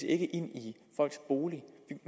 ikke ind i folks boliger